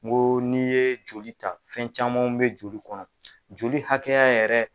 N ko n'i ye joli ta fɛn camanw bɛ joli kɔnɔ joli hakɛya yɛrɛ